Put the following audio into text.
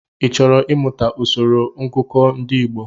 Ị chọrọ I mụta usoro ngụkọ ndị Igbo?